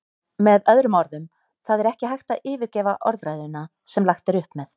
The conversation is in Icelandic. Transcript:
Með öðrum orðum, það er ekki hægt að yfirgefa orðræðuna sem lagt er upp með.